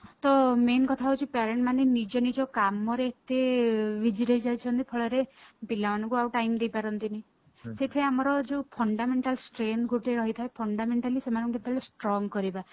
ତ main କଥା ହଉଛି parent ମାନେ ନିଜ ନିଜ କାମରେ ଏତେ busy ରହି ଯାଉଛନ୍ତି ଫଳରେ ପିଲାମାନଙ୍କୁ ଆଉ time ଦେଇ ପାରନ୍ତିନି ସେଇଥି ପାଇଁ ଆମର ଯୋଉ fundamental strength ଗୋଟେ ରହିଥାଏ fundamentally ସେମାନକୁ କେତେବେଳେ strong କରିବା